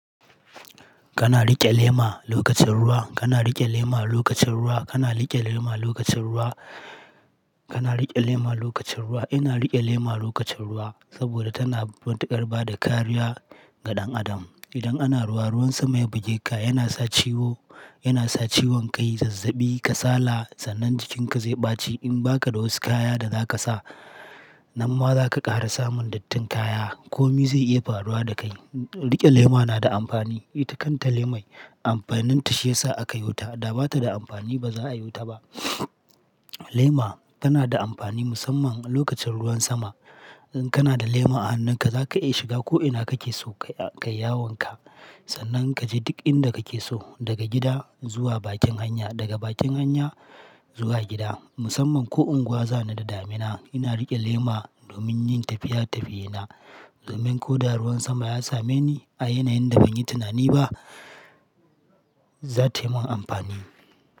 Kana riƙe lema lokacin ruwa, kana riƙe lema lokacin ruwa, kana riƙe lema lokacin ruwa, kana riƙe lema lokacin ruwa. Ina riƙe lema lokacin ruwa saboda tana matukar bada kariya ga ɗan adam. Idan ana ruwa, ruwan sama ya buge ka, yana sa ciwo, yana sa ciwon kai, zazzabi, kasala, sannan jikinka zai ɓaci in ba ka da wasu kaya da za ka sa. Nan ma za ka ƙara samun dattin kaya, komi zai iya faruwa da kai. Riƙe lema na da amfani. Ita kanta lemai amfaninta shi ya sa aka yo ta, da bata da amfani ba za'a yo ta ba. Lema tana da amfani musamman lokacin ruwan sama. In kana da lema a hannunka za ka iya shiga ko'ina kake so kai, kai yawanka. Sannan ka je duk inda kake so daga gida zuwa bakin hanya, daga bakin hanya zuwa gida. Musamman ko unguwa zani da damina ina riƙe lema domin yin tafiya-tafiyena. Domin ko da ruwan sama ya same ni a yanayin da ban yi tinani ba, za tai mun amfani.